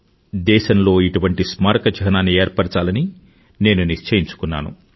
దేశంలో ఇటువంటి స్మారక చిహ్నాన్ని ఏర్పరచాలని నేను నిశ్చయించుకున్నాను